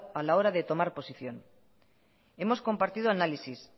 a la hora de tomar posición hemos compartido análisis